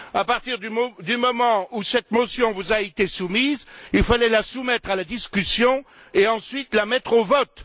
À partir du moment où cette motion vous a été soumise, il fallait la soumettre à la discussion et ensuite la mettre au vote.